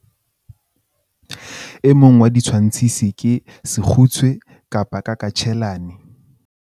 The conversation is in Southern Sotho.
e mong wa ditshwantshisi ke sekgutshwe-kakatjhelana